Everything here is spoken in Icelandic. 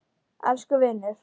Elsku vinur!